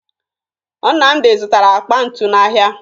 Nnamdị zụtara akpa ntu n'ahịa